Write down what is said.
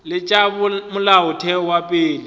le tša molaotheo wa pele